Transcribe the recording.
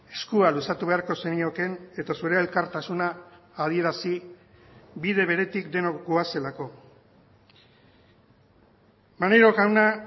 eskua luzatu beharko zeniokeen eta zure elkartasuna adierazi bide beretik denok goazelako maneiro jauna